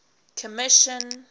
commission